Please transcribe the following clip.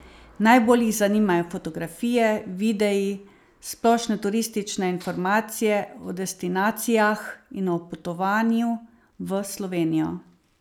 Najbolj jih zanimajo fotografije, videi, splošne turistične informacije o destinacijah in o potovanju v Slovenijo.